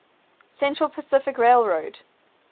central pacific railroad